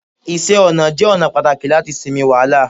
iṣẹ ọnà jé ona pàtàkì lati sinmi wàhálà